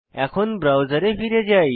এখন ব্রাউজারে ফিরে যাই